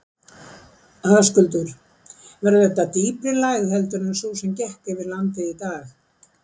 Höskuldur: Verður þetta dýpri lægð heldur en sú sem gekk yfir landið í dag?